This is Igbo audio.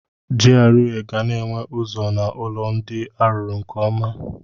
GRA ga-na enwe ụzọ na ụlọ ndị arụrụ nke ọma.